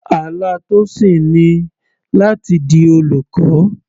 Àlá Tosin ni láti di olùkọ́.